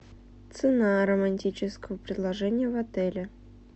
цена романтического предложения в отеле